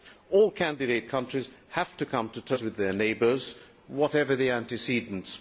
All candidate countries have to come to terms with their neighbours, whatever the antecedents.